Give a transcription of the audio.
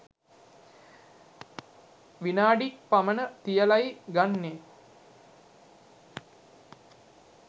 විනාඩි ක් පමණ තියලයි ගන්නේ.